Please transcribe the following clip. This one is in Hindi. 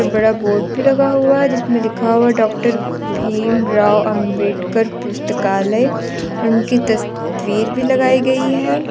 बड़ा बोड भी लगा हुआ है जिसमें लिखा हुआ है डॉक्टर भीमराव अंबेडकर पुस्तकालय और उनकी तस्वीर भी लगाई गई है।